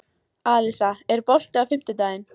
Alisa, er bolti á fimmtudaginn?